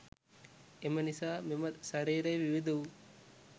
එම නිසා මෙම ශරීරය විවිධ වූ